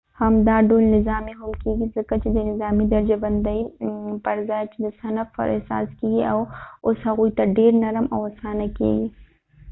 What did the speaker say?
همدا ډول نظامي هم کېږي ځکه چې د نظامي درجه بندۍ پر ځای چې د صنف پر اساس کېږي اوس هغوی ته ډیر نرم او آسانه کېږي